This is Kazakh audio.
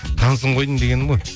танысым ғой дегенім ғой